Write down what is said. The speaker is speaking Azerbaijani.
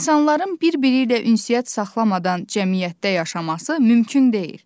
İnsanların bir-biri ilə ünsiyyət saxlamadan cəmiyyətdə yaşaması mümkün deyil.